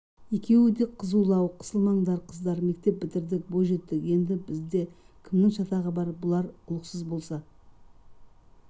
екеуі де қызулау қысылмаңдар қыздар мектеп бітірдік бойжеттік енді бізде кімнің шатағы бар бұлар құлықсыз болса